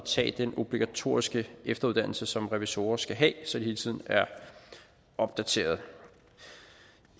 tage den obligatoriske efteruddannelse som revisorer skal have så de hele tiden er opdateret